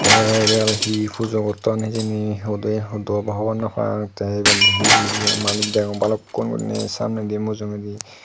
tey ibey oley he pujo gotton hijeni hudui hudu obo honno pang tey iban he hijeni manuj degong balukkun guriney samnendi mujeindi.